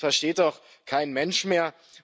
Das versteht doch kein Mensch mehr!